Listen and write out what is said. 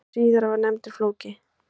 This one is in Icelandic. Sá síðari var nefndur Flóki.